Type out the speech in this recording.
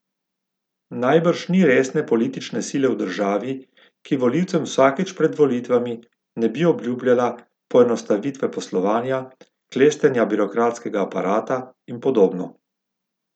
Najbrž ni resne politične sile v državi, ki volivcem vsakič pred volitvami ne bi obljubljala poenostavitve poslovanja, klestenja birokratskega aparata in podobno.